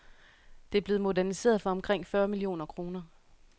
Det er blevet moderniseret for omkring fyrre millioner kroner.